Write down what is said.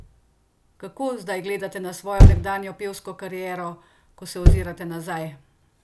Kako zdaj gledate na svojo nekdanjo pevsko kariero, ko se ozrete nazaj?